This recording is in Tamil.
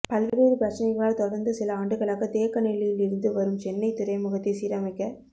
பல்வேறு பிரச்னைகளால் தொடர்ந்து சில ஆண்டுகளாக தேக்கநிலையில் இருந்து வரும் சென்னைத் துறைமுகத்தை சீரமைக்க